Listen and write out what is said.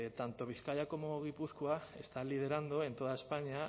tanto bizkaia como gipuzkoa están liderando en toda españa